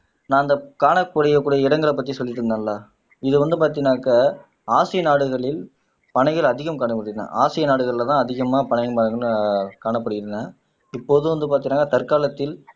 நான் அந்த காணக்கூடிய இடங்கள பத்தி சொல்லிட்டு இருந்தேன்ல இது வந்து பாத்தீங்கனாக்க ஆசிய நாடுகளில் பனைகள் அதிகம் காணப்படுகின்றன ஆசிய நாடுகள்ல தான் அதிகமா பனை மரங்கள் ஆஹ் காணப்படுகின்றன இப்போது வந்து பாத்தீங்கன்னா தற்காலத்தில்